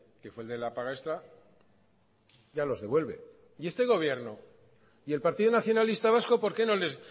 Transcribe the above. que fue el de la paga extra ya los devuelve y este gobierno y el partido nacionalista vasco por qué no les